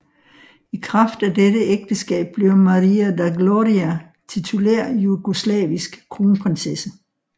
I kraft af dette ægteskab blev Maria da Glória titulær jugoslavisk kronprinsesse